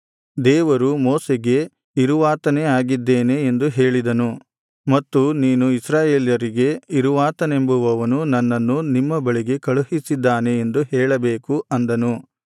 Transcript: ದೇವರು ಮೋಶೆಗೆ ಇರುವಾತನೇ ಆಗಿದ್ದೇನೆ ಎಂದು ಹೇಳಿದನು ಮತ್ತು ನೀನು ಇಸ್ರಾಯೇಲರಿಗೆ ಇರುವಾತನೆಂಬುವವನು ನನ್ನನ್ನು ನಿಮ್ಮ ಬಳಿಗೆ ಕಳುಹಿಸಿದ್ದಾನೆ ಎಂದು ಹೇಳಬೇಕು ಅಂದನು